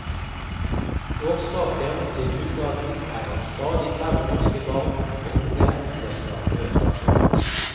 Årsaken til dugnaden er at stadig færre norske barn og unge leser bøker.